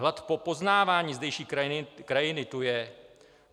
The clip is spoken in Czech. Hlad po poznávání zdejší krajiny tu je.